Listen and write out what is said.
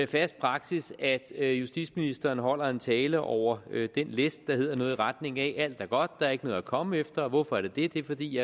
fast praksis at justitsministeren holder en tale over den læst der hedder noget i retning af alt er godt og der er ikke noget at komme efter og hvorfor er det det det er fordi